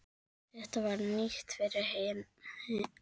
Þetta var nýtt fyrir henni.